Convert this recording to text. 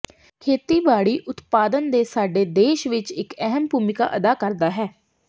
ਖੇਤੀਬਾੜੀ ਉਤਪਾਦਨ ਦੇ ਸਾਡੇ ਦੇਸ਼ ਵਿੱਚ ਇੱਕ ਅਹਿਮ ਭੂਮਿਕਾ ਅਦਾ ਕਰਦਾ ਹੈ